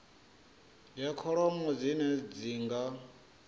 ya kholomo dzine dzi nga